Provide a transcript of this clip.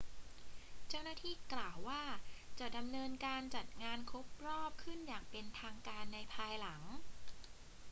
เจ้าหน้าที่กล่าวว่า จะดำเนินการจัดงานครบรอบขึ้นอย่างเป็นทางการในภายหลัง